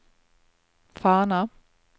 Fana